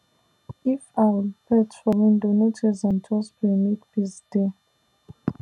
if owl perch for window no chase am just pray make peace dey